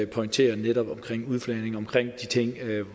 pointerede netop omkring udflagning og omkring de ting